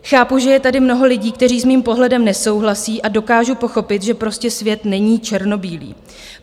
Chápu, že je tady mnoho lidí, kteří s mým pohledem nesouhlasí, a dokážu pochopit, že prostě svět není černobílý.